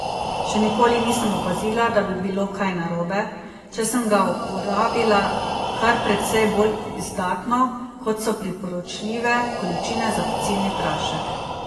Še nikoli nisem opazila, da bi bilo kaj narobe, če sem ga uporabila kar precej bolj izdatno, kot so priporočljive količine za pecilni prašek.